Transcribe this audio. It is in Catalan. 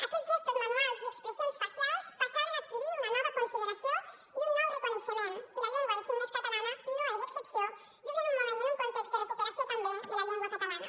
aquells gestos manuals i expressions facials passaven a adquirir una nova consideració i un nou reconeixement i la llengua de signes catalana no és excepció just en un moment i en un context de recuperació també de la llengua catalana